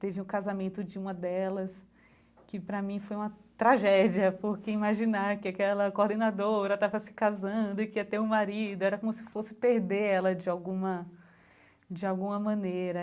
Teve um casamento de uma delas, que para mim foi uma tragédia, porque imaginar que aquela coordenadora estava se casando e que ia ter um marido, era como se fosse perder ela de alguma de alguma maneira.